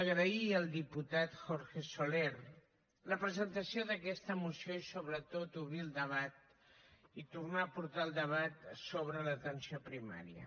agrair al diputat jorge soler la presentació d’aquesta moció i sobretot obrir el debat i tornar a portar el debat sobre l’atenció primària